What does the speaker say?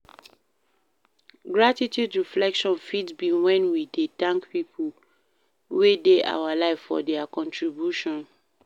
Gratitude reflection fit be when we dey thank pipo wey dey our live for their contribution